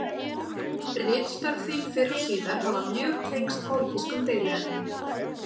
Ritstörf þín fyrr og síðar hafa mjög tengst pólitískum deiluefnum.